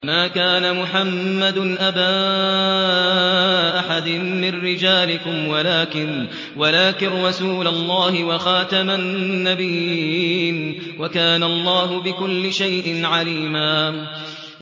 مَّا كَانَ مُحَمَّدٌ أَبَا أَحَدٍ مِّن رِّجَالِكُمْ وَلَٰكِن رَّسُولَ اللَّهِ وَخَاتَمَ النَّبِيِّينَ ۗ وَكَانَ اللَّهُ بِكُلِّ شَيْءٍ عَلِيمًا